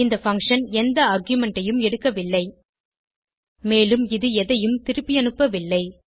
இந்த பங்ஷன் எந்த ஆர்குமென்ட் ஐயும் எடுக்கவில்லை மேலும் இது எதையும் திருப்பியனுப்பவில்லை